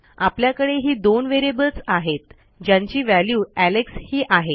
आपल्याकडे ही दोन व्हेरिएबल्स आहेत ज्यांची व्हॅल्यू एलेक्स ही आहे